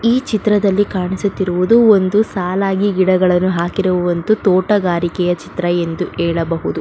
ಈ ಚಿತ್ರದಲ್ಲಿ ಕಾಣಿಸುತ್ತಿರುವುದು ಒಂದು ಸಾಲಾಗಿ ಗಿಡಗಳನ್ನು ಹಾಕಿರುವ ಒಂದು ತೋಟಗಾರಿಕೆಯ ಚಿತ್ರ ಎಂದು ಹೇಳಬಹುದು.